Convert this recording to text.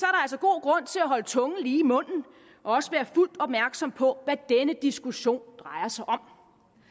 så at holde tungen lige i munden og også være fuldt opmærksom på hvad denne diskussion drejer sig om